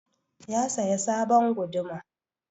Ya saya sabon guduma.